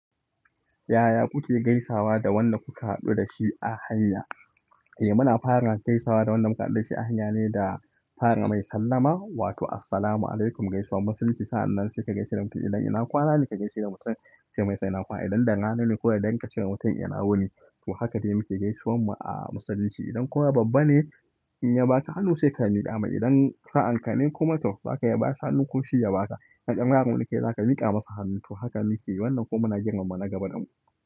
Yaya kuke gaisawa da wanda kuka haɗu da shi a hanya? Muna fara gaisawa da wanda muka haɗu da shi a hanya ne da fara mai sallama wato "Assalamu alaikum" gaisuwan musulunci. Sa'an nan sai ka gaishe da mutum idan ina kwana ne ka gaishe da mutum kace masa ina kwana. Idan da rana ko da dare ka ce wa mutum ina wuni. To haka dai muke gaisuwan mu a musulunci. Idan kuma babba ne inya baka hannu sai ka miƙa mai, idan sa'an kane kuma to zaka iya bashi hannu koshi ya baka idan ɗan yaro ne kai za ka miƙa masa hannu. To haka muke wannan kuma muna girmama na gaba damu.